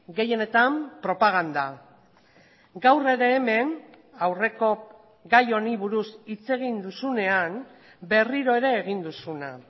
gehienetan propaganda gaur ere hemen aurreko gai honi buruz hitz egin duzunean berriro ere egin duzuna